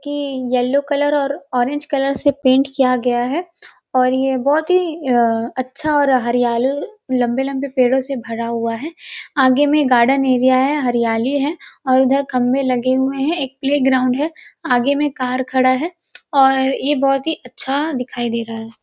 के yellow colour और orange colour से पेंट किया गया है और यह बहुत ही अ अच्छा और हरियाली लम्बे लम्बे पेड़ों से भरा हुआ है आगे में गार्डन एरिया है हरियाली है और उधर खम्बे लगे हुए हैं एक प्लेग्राउंड है आगे में एक कार खड़ा है और यह बहुत ही अच्छा दिखाई दे रहा है।